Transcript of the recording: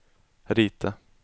rita